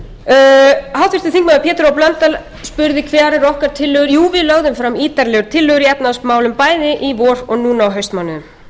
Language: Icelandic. spurði hverjar væru okkar tillögur jú við lögðum fram ítarlegar tillögur í efnahagsmálum bæði í vor og núna á haustmánuðum